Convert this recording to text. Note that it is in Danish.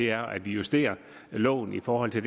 er at vi justerer loven i forhold til